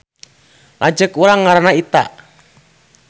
Lanceuk urang ngaranna Ita